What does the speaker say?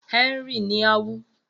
Henry ní a wú.